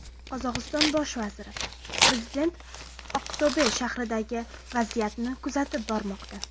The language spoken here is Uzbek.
Qozog‘iston bosh vaziri: Prezident Aqto‘be shahridagi vaziyatni kuzatib bormoqda.